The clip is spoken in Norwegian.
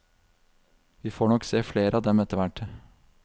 Vi får nok se flere av dem etterhvert.